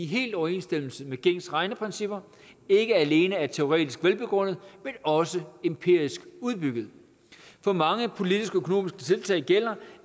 helt i overensstemmelse med gængse regneprincipper ikke alene er teoretisk velbegrundet men også empirisk underbygget for mange politiske og økonomiske tiltag gælder